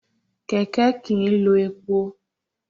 Kẹ̀kẹ́ kìí lo epo.